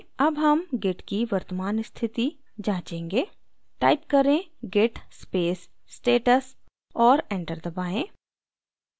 अब हम git की वर्तमान status जांचेंगे type करें: git space status और enter दबाएँ